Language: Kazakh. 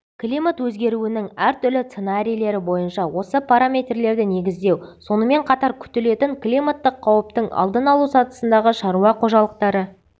климат өзгеруінің әртүрлі сценарийлері бойынша осы параметрлерді негіздеу сонымен қатар күтілетін климаттық қауіптің алдын алу сатысындағы шаруа қожалықтары